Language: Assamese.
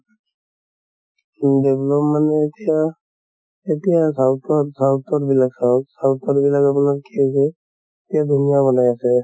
উম develop মানে এতিয়া south ত south ত বিলাক চাওঁক, south ৰ বিলাক আপোনাৰ কি হৈছে এ ধুনীয়া বনাই আছে